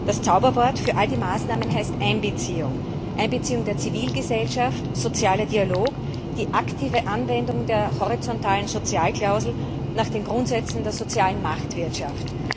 Das Zauberwort für all die Maßnahmen heißt Einbeziehung Einbeziehung der Zivilgesellschaft, sozialer Dialog, die aktive Anwendung der horizontalen Sozialklausel nach den Grundsätzen der sozialen Marktwirtschaft.